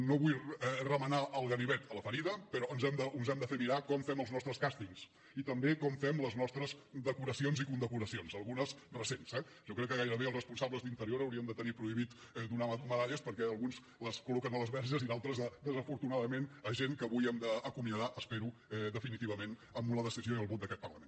no vull remenar el ganivet a la ferida però ens hem de fer mirar com fem els nostres càstings i també com fem les nostres decoracions i condecoracions algunes recents eh jo crec que gairebé els responsables d’interior haurien de tenir prohibit donar medalles perquè alguns les col·loquen a les verges i d’altres desafortunadament a gent que avui que hem d’acomiadar ho espero definitivament amb la decisió i el vot d’aquest parlament